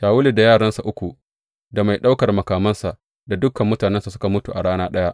Shawulu da yaransa uku da mai ɗaukar makamansa da dukan mutanensa suka mutu a rana ɗaya.